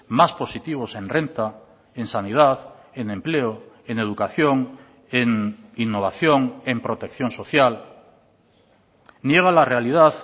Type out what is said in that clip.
más positivos en renta en sanidad en empleo en educación en innovación en protección social niega la realidad